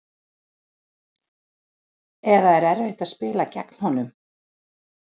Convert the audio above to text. Eða erfitt að spila gegn honum?